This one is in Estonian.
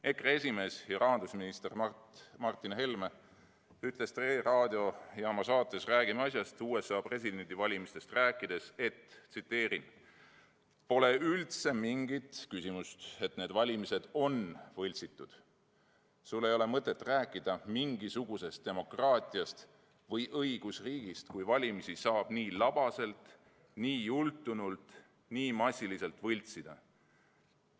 EKRE esimees ja rahandusminister Martin Helme ütles Tre raadiojaama saates "Räägime asjast" USA presidendivalimistest rääkides, et ei ole üldse küsimustki selles, et need valimised on võltsitud: "Sul ei ole mõtet rääkida mingisugusest demokraatiast või õigusriigist, kui valimisi saab nii labaselt, nii jultunult ja nii massiliselt võltsida.